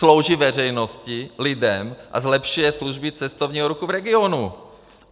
Slouží veřejnosti, lidem a zlepšuje služby cestovního ruchu v regionu.